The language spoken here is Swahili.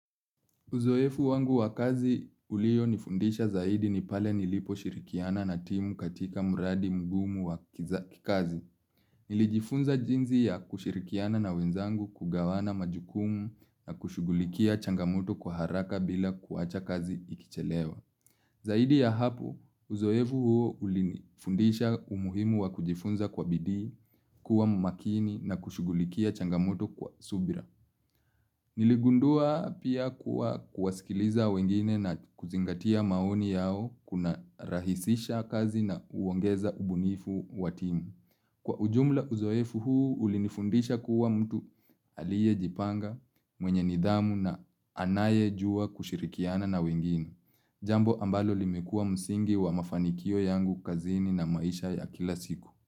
Uzoefu wangu wa kazi ulio nifundisha zaidi ni pale nilipo shirikiana na timu katika mradi mgumu wa kikazi. Nilijifunza jinsi ya kushirikiana na wenzangu kugawana majukumu na kushugulikia changamoto kwa haraka bila kuacha kazi ikichelewa. Zaidi ya hapo, uzoefu huo ulinifundisha umuhimu wa kujifunza kwa bidii, kuwa mumakini na kushugulikia changamoto kwa subira. Niligundua pia kuwa kuwasikiliza wengine na kuzingatia maoni yao kuna rahisisha kazi na uongeza ubunifu wa timu. Kwa ujumla uzoefu huu, ulinifundisha kuwa mtu aliye jipanga mwenye nidhamu na anaye jua kushirikiana na wengine. Jambo ambalo limekua msingi wa mafanikio yangu kazini na maisha ya kila siku.